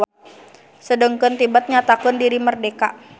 Sedengkeun Tibet nyatakeun diri merdeka.